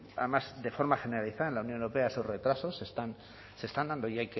además de forma generalizada en la unión europea esos retrasos se están dando y